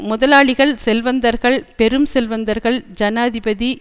முதலாளிகள் செல்வந்தர்கள் பெரும் செல்வந்தர்கள் ஜனாதிபதி